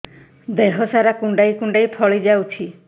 ଦେହ ସାରା କୁଣ୍ଡାଇ କୁଣ୍ଡାଇ ଫଳି ଯାଉଛି